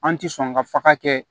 An ti sɔn ka faga kɛ